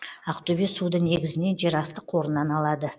ақтөбе суды негізінен жерасты қорынан алады